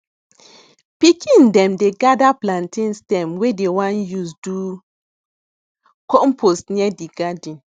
pikin dem dey gather plantain stem wey dem wan use do compost near di garden